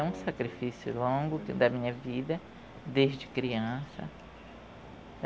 É um sacrifício longo da minha vida, desde criança.